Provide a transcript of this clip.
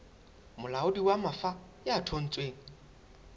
molaodi wa mafa ya thontsweng